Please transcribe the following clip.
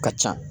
Ka ca